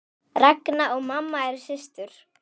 Ragna og mamma eru systur.